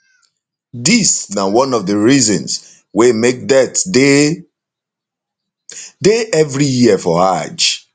dis na one of di reasons wey make deaths dey dey every year for hajj